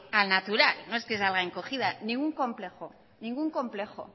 al natural no es que salga encogida ningún complejo ningún complejo